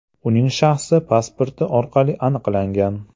Uning shaxsi pasporti orqali aniqlangan.